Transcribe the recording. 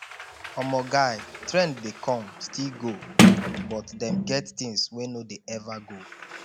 omo guy trend dey come still go but dem get things wey no dey ever go